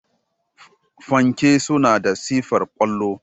Fanke suna da sifar kwallo.